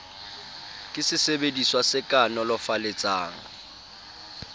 ke sesebediswa se ka nolofaletsang